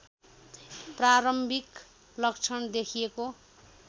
प्रारम्भिक लक्षण देखिएको